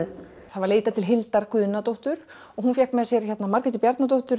það var leitað til Hildar Guðnadóttur og hún fékk með sér Margréti Bjarnadóttur